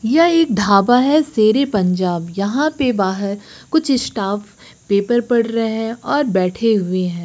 यह एक ढाबा है शेर ए पंजाब यहां पे बाहर कुछ स्टाफ पेपर पढ़ रहे है और बैठे हुए है।